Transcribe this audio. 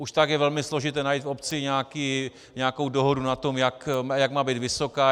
Už tak je velmi složité najít v obci nějakou dohodu na tom, jak má být vysoká.